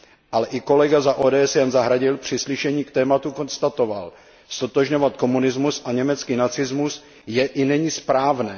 Ale i kolega za OSD Jan Zahradil při slyšení k tématu konstatoval Ztotožňovat komunismus a německý nacismus je i není správné.